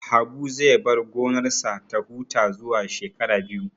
Habu zai bar gonarsa ta huta zuwa shekara biyu